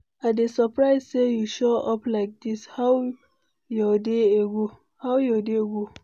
I dey surprised say you show up like this, how your day go?